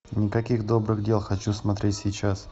никаких добрых дел хочу смотреть сейчас